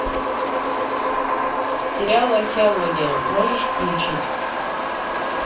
сериал археология можешь включить